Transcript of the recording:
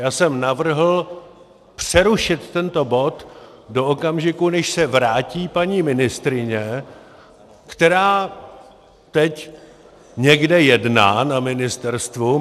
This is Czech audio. Já jsem navrhl přerušit tento bod do okamžiku, než se vrátí paní ministryně, která teď někde jedná na ministerstvu.